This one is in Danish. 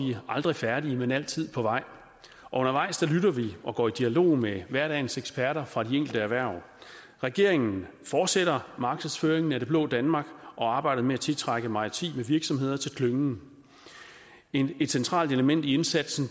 vi aldrig færdige men altid på vej og undervejs lytter vi og går i dialog med hverdagens eksperter fra de enkelte erhverv regeringen fortsætter markedsføringen af det blå danmark og arbejdet med at tiltrække maritime virksomheder til klyngen et centralt element i indsatsen